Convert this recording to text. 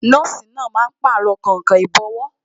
Nọ́ọ̀sì náà máa Pàrọ̀ kainkain ìbọ́wọ́